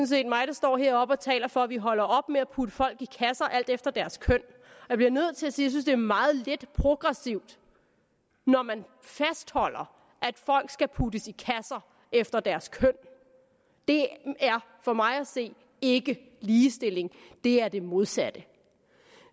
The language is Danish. set mig der står heroppe og taler for at vi holder op med at putte folk i kasser alt efter deres køn jeg bliver nødt til at sige synes det er meget lidt progressivt når man fastholder at folk skal puttes i kasser efter deres køn det er for mig at se ikke ligestilling det er det modsatte